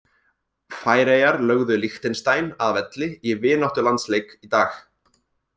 Færeyjar lögðu Liechtenstein að velli í vináttulandsleik í dag.